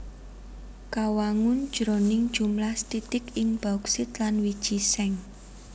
Kawangun jroning jumlah sethithik ing bauksit lan wiji seng